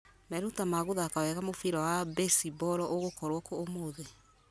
meruta ma guthaka wega mũbira wa mbĩcimboro megũkorwo kũ ũmũthĩ